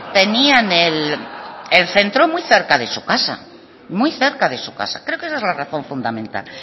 tenían el centro muy cerca de su casa muy cerca de su casa creo que esa es la razón fundamental